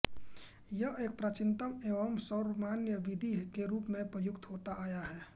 यह एक प्राचीनतम एवं सर्वमान्य विधि के रूप में प्रयुक्त होता आया है